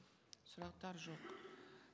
сұрақтар жоқ